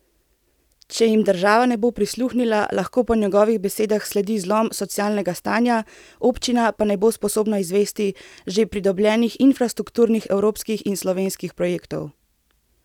Če jim država ne bo prisluhnila, lahko po njegovih besedah sledi zlom socialnega stanja, občina pa ne bo sposobna izvesti že pridobljenih infrastrukturnih evropskih in slovenskih projektov.